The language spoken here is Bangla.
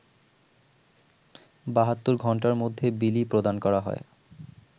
৭২ ঘন্টার মধ্যে বিলি প্রদান করা হয়